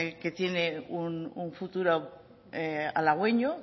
que tiene un futuro halagüeño